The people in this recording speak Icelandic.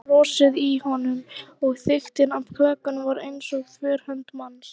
Það var frosið í honum- og þykktin á klakanum var eins og þverhönd manns.